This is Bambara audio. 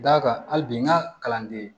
D'a kan hali bi n ka kalanden